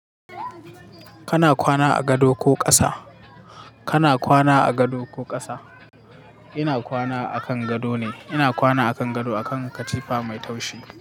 Kana kwana a gado ko ƙasa? Kana kwana a gado ko ƙasa? Ina kwana a kan gado ne. Ina kwana a kan gado a kan katifa mai taushi.